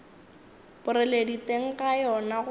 boreledi teng ga yona go